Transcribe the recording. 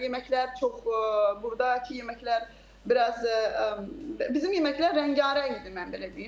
Yeməklər çox, burdakı yeməklər biraz bizim yeməklər rəngarəngdir, mən belə deyim.